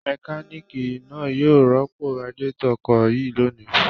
Mẹkáníkì náà yóò rọ́pò radiátọ̀ ọkọ̀ yìí lónìí.